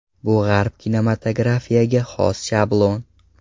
Bu G‘arb kinematografiga xos shablon.